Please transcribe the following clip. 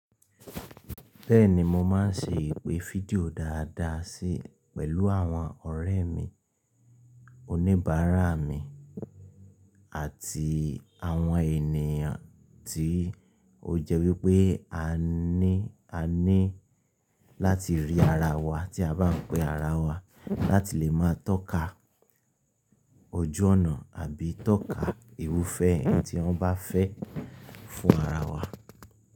Bẹ́ẹ̀ni mo máa ń ṣe ìpè fídíò dáadáa sí pẹ̀lú àwọn ọ̀rẹ́ mi, oníbàárà mi àti àwọn ènìyàn tí ó jẹ́ wípé a ní, a ní láti rí ara wa tí a bá ń pe ara wa láti lè máa tọ́ka ojú ọ̀nà àbí tọ́ka irufẹ ohun tí wọ́n bá fẹ́ fún ara wa.